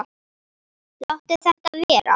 Láttu þetta vera!